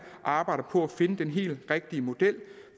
arbejder på at finde den helt rigtige model